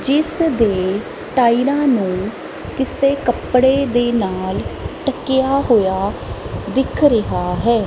ਜਿਸ ਦੇ ਟਾਈਰਾਂ ਨੂੰ ਕਿਸੇ ਕੱਪੜੇ ਦੇ ਨਾਲ ਟਕਿਆ ਹੋਇਆ ਦਿਖ ਰਿਹਾ ਹੈ।